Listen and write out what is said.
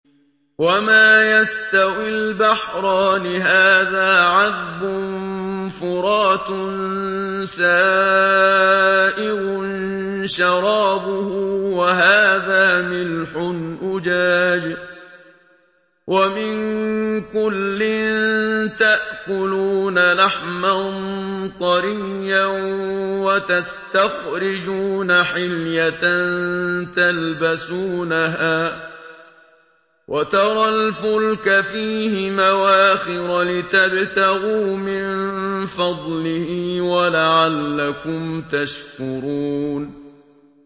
وَمَا يَسْتَوِي الْبَحْرَانِ هَٰذَا عَذْبٌ فُرَاتٌ سَائِغٌ شَرَابُهُ وَهَٰذَا مِلْحٌ أُجَاجٌ ۖ وَمِن كُلٍّ تَأْكُلُونَ لَحْمًا طَرِيًّا وَتَسْتَخْرِجُونَ حِلْيَةً تَلْبَسُونَهَا ۖ وَتَرَى الْفُلْكَ فِيهِ مَوَاخِرَ لِتَبْتَغُوا مِن فَضْلِهِ وَلَعَلَّكُمْ تَشْكُرُونَ